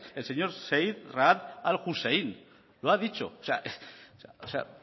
el señor zeid raad al hussein lo ha dicho o sea